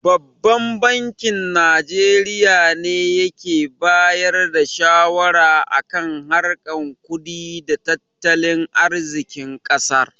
Babban bankin Najeriya ne yake bayar da shawara a kan harkar kudi da tattalin arzikin ƙasar.